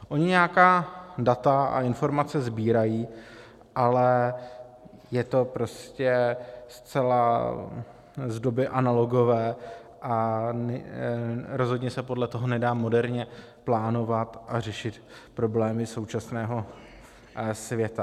Oni nějaká data a informace sbírají, ale je to prostě zcela z doby analogové a rozhodně se podle toho nedá moderně plánovat a řešit problémy současného světa.